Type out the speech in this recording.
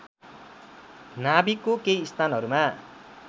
नाभिकको केही स्थानहरूमा